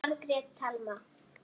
Margrét Thelma.